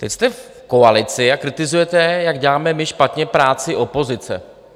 Teď jste v koalici a kritizujete, jak děláme my špatně práci opozice.